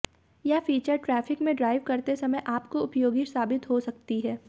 यह feature traffic में drive करते समय काफी उपयोगी साबित हो सकती है